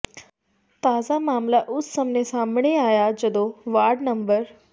ਤਾਜ਼ਾ ਮਾਮਲਾ ਉਸ ਸਮੇਂ ਸਾਹਮਣੇ ਆਇਆ ਜਦੋਂ ਵਾਰਡ ਨੰ